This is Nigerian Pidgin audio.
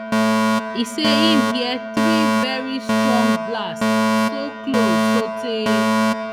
e say im hear three veri strong blasts so close sotay